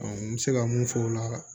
n bɛ se ka mun fɔ o la